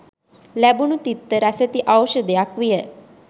ලැබුණු තිත්ත රසැති ‍ඖෂධයක් විය.